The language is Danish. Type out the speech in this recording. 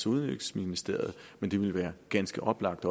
udviklingsministeriet men det ville være ganske oplagt